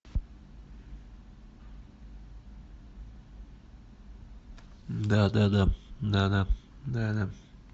да да да да да да да